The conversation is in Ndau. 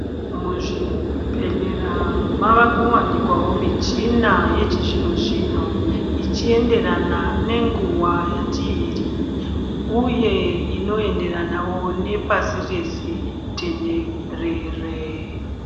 Muzvibhedhlera mava kuwanikwa michina yechizvino zvino ichienderana ngenguwa tiri kuwebiuye inoenderana nepashi reshe tenderere.